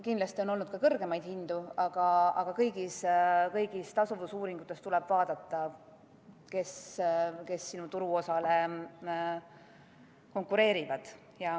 Kindlasti on olnud ka kõrgemaid hindu, aga kõigis tasuvusuuringutes tuleb vaadata, kes sinu turuosale konkureerivad.